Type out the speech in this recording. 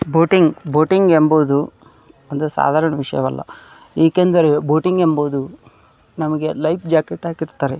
Boating boating ಎಂಬುವುದು ಅಂದ್ರೆ ಸಾಧಾರಣ ವಿಷಯವಲ್ಲಾ ಏಕೆಂದರೆ ಬೋಟಿಂಗ್ ಎಂಬುವುದು ನಮಗೆ ಲೈಫ್ ಜಾಕೆಟ್ ಹಾಕಿರತ್ತರೆ.